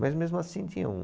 Mas mesmo assim tinha um...